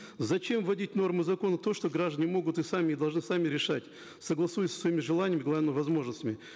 зачем вводить в нормы закона то что граждане могут и сами должны сами решать согласуясь со своими желаниями главное возможностями